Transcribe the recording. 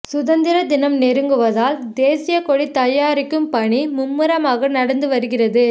சுதந்திர தினம் நெருங்குவதால் தேசிய கொடி தயாரிக்கும் பணி மும்மரமாக நடந்து வருகிறது